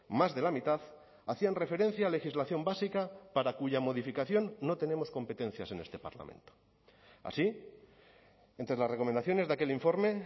más de la mitad hacían referencia a legislación básica para cuya modificación no tenemos competencias en este parlamento así entre las recomendaciones de aquel informe